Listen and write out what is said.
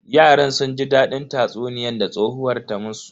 Yaran sun ji dadin tatsuniyan da tsohuwar ta musu.